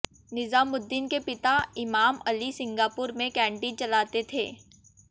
निजामुद्दीन के पिता इमाम अली सिंगापुर में कैंटीन चलाते थे